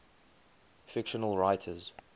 fictional writers